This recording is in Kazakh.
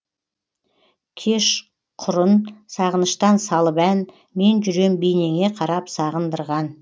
кеш құрын сағыныштан салып ән мен жүрем бейнеңе қарап сағындырған